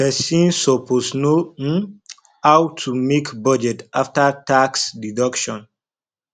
person suppose know um how to make budget after tax deduction